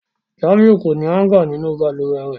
Jamiu ko ni hanga ninu baluwe rẹ.